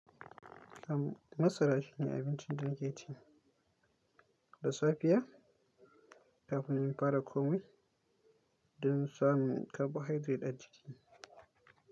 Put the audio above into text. Masara shine abincin da nake ci da safiya kafin in fara komai don samun carbohydrate a jiki.